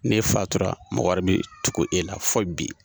N'e fatura mɔgɔ wɛrɛ be tugu e la fo bi.